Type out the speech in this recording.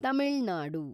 Tamil Nadu